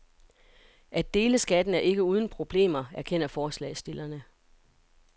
At dele skatten er ikke uden problemer, erkender forslagsstillerne.